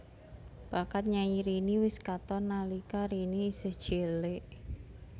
Bakat nyanyi Rini wis katon nalika Rini isih cilik